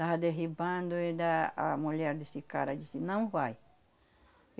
Estava derribando ainda a mulher desse cara disse, não vai.